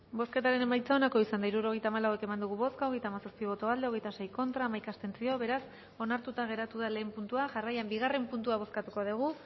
bozketaren emaitza onako izan da hirurogeita hamalau eman dugu bozka hogeita hamazazpi boto aldekoa hogeita sei contra hamaika abstentzio beraz onartuta geratu da lehen puntua jarraian bigarren puntua bozkatuko dugu